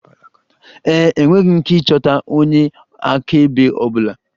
Ee e, enweghị m ike ịchọta onye akaebe ọ bụla.